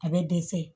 A bɛ dɛsɛ